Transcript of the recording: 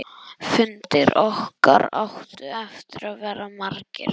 Fundir okkar áttu eftir að verða margir.